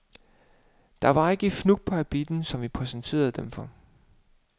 Der var ikke et fnug på habitten, som vi præsenterede dem for.